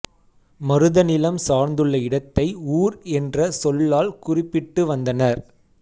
மருதநிலம் சார்ந்துள்ள இடத்தை ஊர் என்ற சொல்லால் குறிபிட்டு வந்தனர்